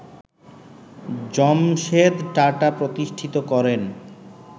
জামশেদ টাটা প্রতিষ্ঠিত করেন